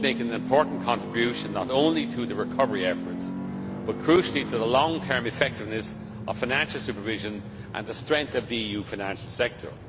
would both make an important contribution, not only to the recovery efforts, but crucially to the long term effectiveness of financial supervision and the strength of the EU financial sector.